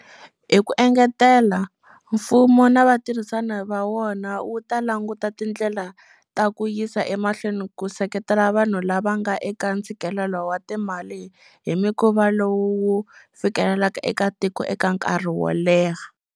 Hi ku engetela, mfumo na vatirhisani va wona wu ta languta tindlela ta ku yisa emahlweni ku seketela vanhu la va nga eka ntshikelelo wa timali hi mukhuva lowu wu fikelelekaka eka tiko eka nkarhi wo leha.